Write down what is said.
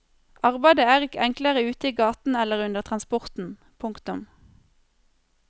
Arbeidet er ikke enklere ute i gaten eller under transporten. punktum